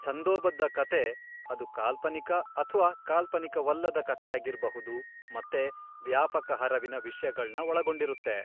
ಛಂದೋಬದ್ಧ ಕಥೆ ಅದು ಕಾಲ್ಪನಿಕ ಅಥ್ವಾ ಕಾಲ್ಪನಿಕವಲ್ಲದ ಕಥೆಯಾಗಿರ್ಬಹುದು ಮತ್ತೆ ವ್ಯಾಪಕ ಹರವಿನ ವಿಷ್ಯಗಳ್ನ ಒಳ್ಗೊಂಡಿರುತ್ತೆ.